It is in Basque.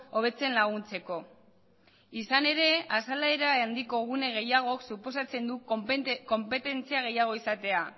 hobetzen laguntzeko izan ere azalera handiko gune gehiago suposatzen du konpetentzia gehiago izatea